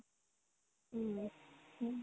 উম হু